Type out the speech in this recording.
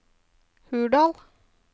Hurdal